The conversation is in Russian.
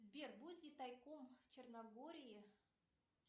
сбер будет ли тайком в черногории